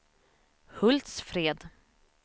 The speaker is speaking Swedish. Hultsfred